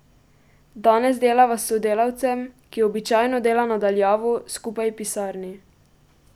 Danes delava s sodelavcem, ki običajno dela na daljavo, skupaj v pisarni.